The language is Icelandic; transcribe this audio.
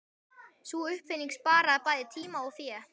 Sú uppfinning sparaði bæði tíma og fé.